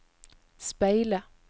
speile